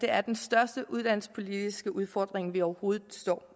er den største uddannelsespolitiske udfordring vi overhovedet står